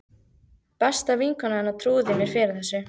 Besta vinkona hennar trúði mér fyrir þessu.